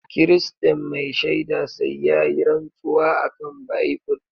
Kiristan mai shaida sai yayi rantsuwa akan bible.